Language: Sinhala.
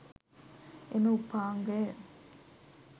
එම උපාංගය